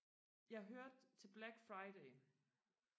jeg hørte til black friday